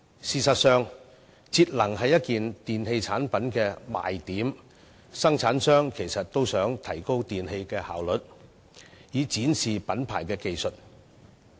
事實上，節能是一件電器的賣點，生產商也致力提升電器的效率，以展示品牌技術。